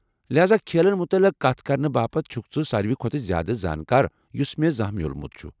لہاذا ، کھیلن متعلق کتھ کرنہٕ باپتھ چُھکھ ژٕ ساروٕے کھۄتہٕ زیادٕ زانٛکار یُس مے٘ زانہہ مِیوٗلمُت چُھ۔